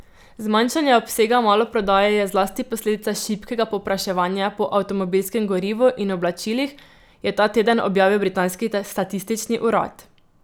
Zmanjšanje obsega maloprodaje je zlasti posledica šibkega povpraševanja po avtomobilskemu gorivu in oblačilih, je ta teden objavil britanski statistični urad.